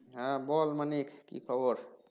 হম বল Manik কি খবর